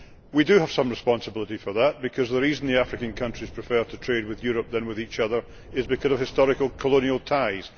We do have some responsibility for that, because the reason the African countries prefer to trade with Europe rather than with each other is because of historical colonial ties.